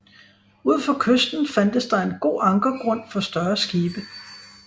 Ud for kysten fandtes der en god ankergrund for større skibe